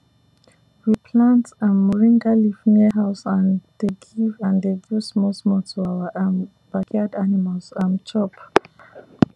we plant um moringa leaf near house and dey give and dey give smallsmall to our um backyard animals um chop